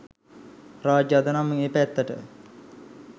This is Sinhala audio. රාජ් අද නම් ඒ පැත්තට